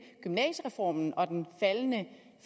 gymnasiereformen og den faldende